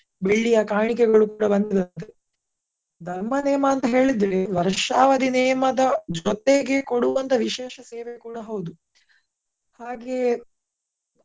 ಬೆಳ್ಳಿಯ ಕಾಣಿಕೆಗಳು ಕೂಡ ಬಂದಿದವೆ ಧರ್ಮ ನೇಮ ಅಂತ ಹೇಳಿದ್ರೆ ವರ್ಷಾವಧಿ ನೇಮ ದ ಜೊತೆಗೆ ಕೊಡುವಂತ ವಿಶೇಷ ಸೇವೆ ಕೂಡ ಹೌದು ಹಾಗೆ.